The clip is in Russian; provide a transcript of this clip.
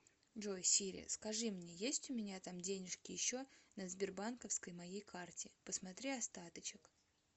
джой сири скажи мне есть у меня там денежки еще на сбербанковской моей карте посмотри остаточек